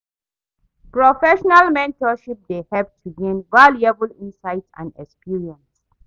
Professional mentorship dey help to gain valuable insights and experience.